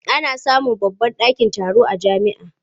Ana samun babban ɗakin taro a jami'a.